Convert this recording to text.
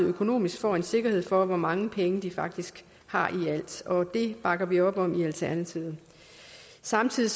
økonomisk får en sikkerhed for hvor mange penge de faktisk har i alt og det bakker vi op om i alternativet samtidig